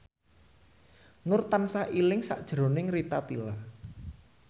Nur tansah eling sakjroning Rita Tila